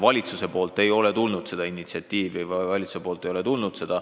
Valitsuselt ei ole seda initsiatiivi, seda algatust tulnud.